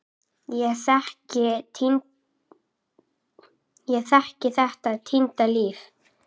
Ég þekki þetta týnda líf.